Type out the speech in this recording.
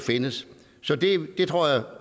findes det tror jeg